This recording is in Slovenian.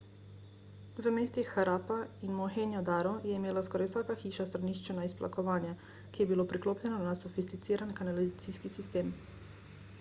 v mestih harappa in mohenjo-daro je imela skoraj vsaka hiša stranišče na izplakovanje ki je bilo priklopljeno na sofisticiran kanalizacijski sistem